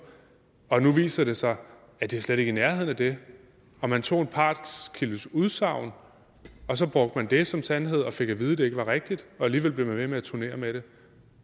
og det nu viser sig at det slet ikke er i nærheden af det og man tog en partskildes udsagn og så brugte man det som sandhed og fik at vide at det ikke var rigtigt og alligevel blev man ved med at turnere med det